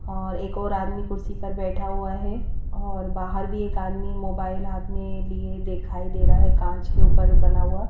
और एक और आदमी कुर्सी पर बैठा हुआ है और बाहर भी एक आदमी मोबाइल हाथ में लिए दिखाई दे रहा है कांच के ऊपर बना हुआ--